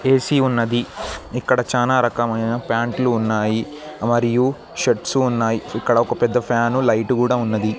AC ఉన్నది ఇక్కడ చానా రకమైన ప్యాంట్ లు ఉన్నాయి మరియు షర్ట్స్ ఉన్నాయి ఇక్కడ ఒక పెద్ద ఫ్యాను లైటు గూడ ఉన్నది.